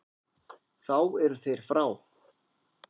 Þá eru þeir frá.